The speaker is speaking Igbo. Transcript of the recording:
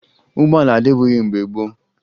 Ụgbọala adịbughi mgbe gboo